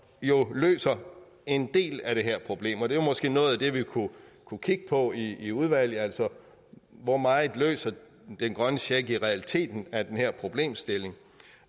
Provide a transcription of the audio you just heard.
jo løser en del af det her problem det var måske noget af det vi kunne kunne kigge på i udvalget altså hvor meget den grønne check i realiteten af den her problemstilling